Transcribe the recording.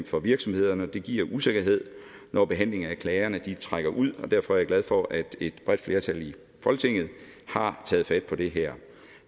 for virksomhederne og det giver usikkerhed når behandlingen af klagerne trækker ud og derfor er jeg glad for at et bredt flertal i folketinget har taget fat på det her